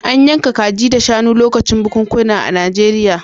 An yanka kaji da shanu lokacin bukunkuna a Najeriya.